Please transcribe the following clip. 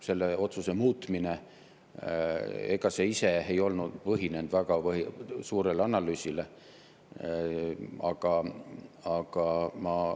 Selle otsuse muutmine ise ei põhinenud väga suurel analüüsil.